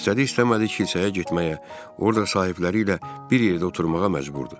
İstədik-istəmədik kilsəyə getməyə, orda sahibləri ilə bir yerdə oturmağa məcburdur.